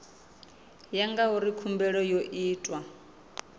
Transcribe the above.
ya ngauri khumbelo yo itwa